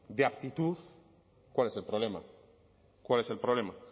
de aptitud cuál es el problema cuál es el problema